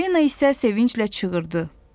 Falina isə sevinclə çığırdı: